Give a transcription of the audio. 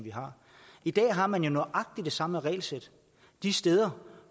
vi har i dag har man jo nøjagtig det samme regelsæt de steder